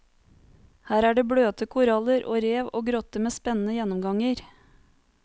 Her er det bløte koraller og rev og grotter med spennende gjennomganger.